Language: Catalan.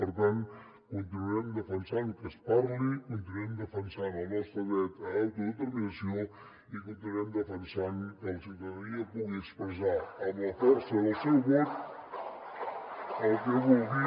per tant continuarem defensant que es parli continuarem defensant el nostre dret a l’autodeterminació i continuarem defensant que la ciutadania pugui expressar amb la força del seu vot el que vulgui